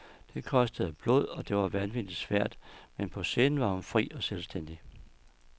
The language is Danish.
Det kostede blod, og det var vanvittigt svært, men på scenen var hun fri og selvstændig.